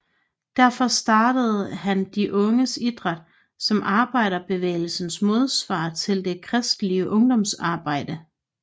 Derfor startede han De Unges Idræt som arbejderbevægelsens modsvar til det kristelige ungdomsarbejde